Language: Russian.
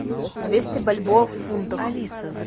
двести бальбоа в фунтах